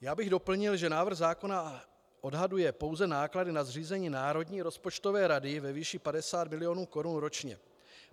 Já bych doplnil, že návrh zákona odhaduje pouze náklady na zřízení Národní rozpočtové rady ve výši 50 milionů korun ročně.